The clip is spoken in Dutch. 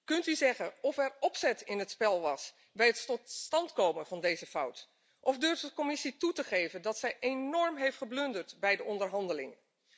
Kunt u zeggen of er opzet in het spel was bij het tot stand komen van deze fout, of durft de Commissie toe te geven dat zij enorm heeft geblunderd bij de onderhandelingen?